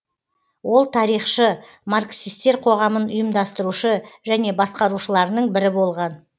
ол тарихшы марксистер қоғамын ұйымдастырушы және басқарушыларының бірі болған